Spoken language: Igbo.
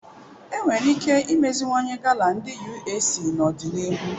Enwere ike imeziwanye gala ndi UAC n'ọdịnihu